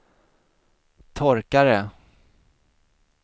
torkare